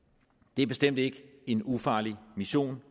det er bestemt ikke en ufarlig mission